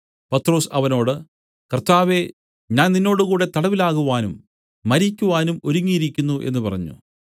പത്രൊസ് അവനോട് കർത്താവേ ഞാൻ നിന്നോടുകൂടെ തടവിലാകുവാനും മരിക്കുവാനും ഒരുങ്ങിയിരിക്കുന്നു എന്നു പറഞ്ഞു